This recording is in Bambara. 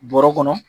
Bɔrɛ kɔnɔ